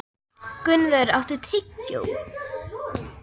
Gunnvör, áttu tyggjó?